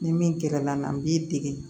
Ni min gɛrɛ la n'an b'i dege